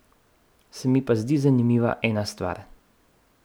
Se mi pa zdi zanimiva ena stvar.